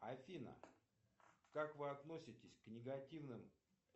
афина как вы относитесь к негативным